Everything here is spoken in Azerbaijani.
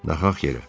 Naxaq yerə.